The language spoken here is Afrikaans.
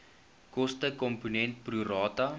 kostekomponent pro rata